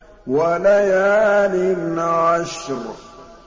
وَلَيَالٍ عَشْرٍ